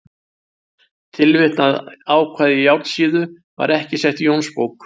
Tilvitnað ákvæði Járnsíðu var ekki sett í Jónsbók.